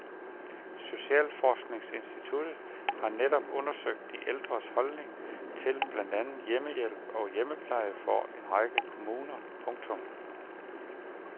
Socialforskningsinstituttet har netop undersøgt de ældres holdning til blandt andet hjemmehjælp og hjemmepleje for en række kommuner. punktum